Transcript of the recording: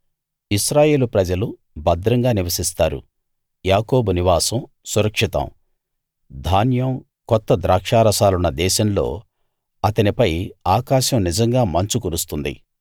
ఇశ్రాయేలు ప్రజలు భద్రంగా నివసిస్తారు యాకోబు నివాసం సురక్షితం ధాన్యం కొత్త ద్రాక్షారసాలున్న దేశంలో అతనిపై ఆకాశం నిజంగా మంచు కురుస్తుంది